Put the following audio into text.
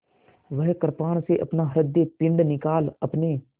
वह कृपाण से अपना हृदयपिंड निकाल अपने